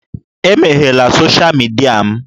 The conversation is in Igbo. Emeghela sọsha mịdia m.